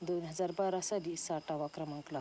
दोन हजार बारा साली साठावा क्रमांक लागतो.